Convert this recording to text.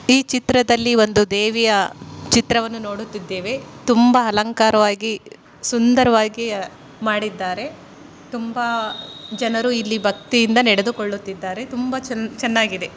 ಈ ಚಿತ್ರದಲ್ಲಿ ಒಂದು ದೇವಿಯ ಚಿತ್ರವನ್ನು ನೋಡುತ್ತಿದ್ದೇವೆ. ತುಂಬಾ ಅಲಂಕಾರವಾಗಿ ಸುಂದರವಾಗಿ ಮಾಡಿದ್ದಾರೆ. ತುಂಬಾ ಜನರು ಇಲ್ಲಿ ಭಕ್ತಿಯಿಂದ ನಡೆದುಕೊಳ್ಳುತ್ತಿದ್ದಾರೆ ತುಂಬಾ ಚೆನ್ನಾಗಿದೆ.